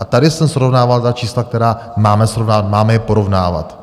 A tady jsem srovnával ta čísla, která máme srovnávat, máme je porovnávat.